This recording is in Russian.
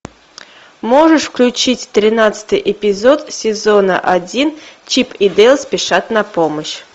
можешь включить тринадцатый эпизод сезона один чип и дейл спешат на помощь